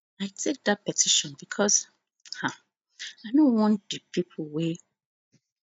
i take dat petition becos um i no want di pipo wey